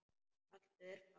Haltu þér fast.